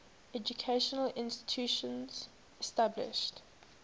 educational institutions established